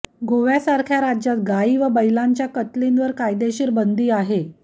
गोव्यासारख्या राज्यात गायी व बैलांच्या कत्तलींवर कायदेशीर बंदी आहे